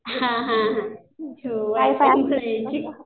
हां हां हां